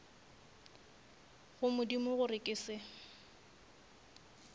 go modimo gore ke se